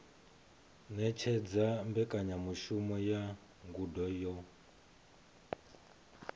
ṅetshedza mbekanyamushumo ya ngudo yo